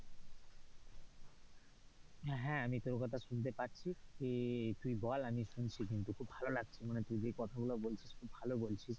হ্যাঁ আমি তোর কথা শুনতে পাচ্ছি তুই বল আমি শুনছি কিন্তু খুব ভালো লাগছে মানে তুই কথাগুলো বলছিস খুব ভালো বলছিস।